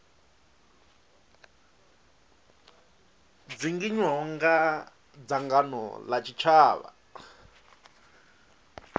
dzinginywaho nga dzangano la tshitshavha